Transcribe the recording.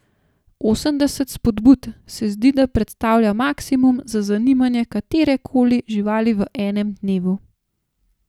Osemdeset spodbud se zdi, da predstavlja maksimum za zanimanje katerekoli živali v enem dnevu.